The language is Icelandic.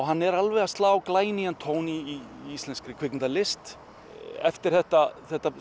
hann er alveg að slá glænýjan tón í íslenskri kvikmyndalist eftir þetta þetta